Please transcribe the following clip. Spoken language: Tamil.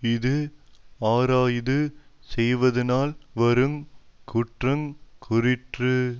இஃது ஆராயாது செய்வதனால்வருங் குற்றங் கூறிற்று